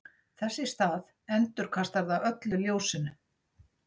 þess í stað endurkastar það öllu ljósinu